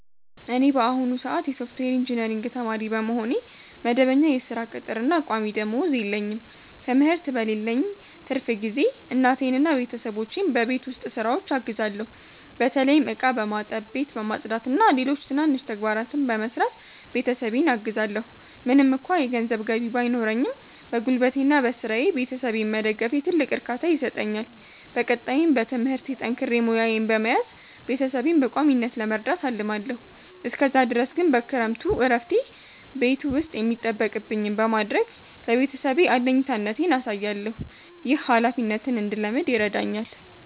እኔ በአሁኑ ሰአት የሶፍትዌር ኢንጂነሪንግ ተማሪ በመሆኔ፣ መደበኛ የሥራ ቅጥርና ቋሚ ደመወዝ የለኝም። ትምህርት በሌለኝ ትርፍ ጊዜ እናቴንና ቤተሰቦቼን በቤት ውስጥ ሥራዎች አግዛለሁ። በተለይም ዕቃ በማጠብ፣ ቤት በማጽዳትና ሌሎች ትናንሽ ተግባራትን በመስራት ቤተሰቤን አግዛለዎ። ምንም እንኳ የገንዘብ ገቢ ባይኖረኝም፣ በጉልበቴና በሥራዬ ቤተሰቤን መደገፌ ትልቅ እርካታ ይሰጠኛል። በቀጣይም በትምህርቴ ጠንክሬ ሙያዬን በመያዝ ቤተሰቤን በቋሚነት ለመርዳት አልማለዎ። እስከዛ ድረስ ግን በክረምቱ እረፍቴ ቤት ውስጥ የሚጠበቅብኝን በማድረግ ለቤተሰቤ አለኝታነቴን አሳያለሁ። ይህ ኃላፊነትን እንድለምድ ይረዳኛል።